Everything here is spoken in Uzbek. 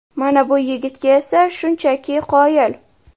Mana bu yigitga esa shunchaki qoyil!